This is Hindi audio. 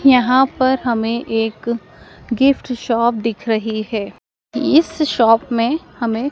यहां पर हमें एक गिफ्ट शॉप दिख रही है। इस शॉप में हमें--